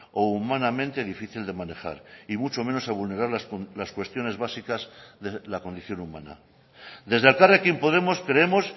o humanamente difícil de manejar y mucho menos a vulnerar las cuestiones básicas de la condición humana desde elkarrekin podemos creemos